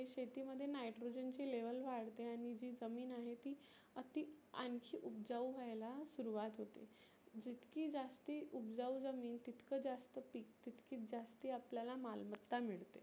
शेती मध्ये nitrogen ची level वाढते आणि जी जमीन आहे ती अति आनखी उबजाऊ व्हायला सुरुवात होते. जितकी जास्त उबजाऊ जमीन तितक जास्त पीक तीतकच जास्ती आपल्याला माल मत्ता मिळते.